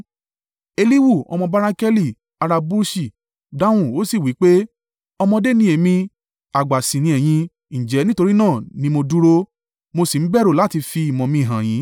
Elihu, ọmọ Barakeli, ará Busi, dáhùn ó sì wí pé, “Ọmọdé ni èmi, àgbà sì ní ẹ̀yin; ǹjẹ́ nítorí náà ní mo dúró, mo sì ń bẹ̀rù láti fi ìmọ̀ mi hàn yin.